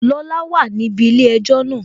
Lọla wà níbi ilé-ẹjọ́ náà